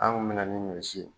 Anw bi na ni ɲɔsi ye